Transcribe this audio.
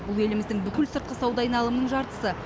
бұл еліміздің бүкіл сыртқы сауда айналымының жартысы